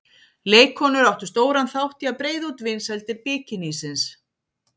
Leikkonur áttu stóran þátt í að breiða út vinsældir bikinísins.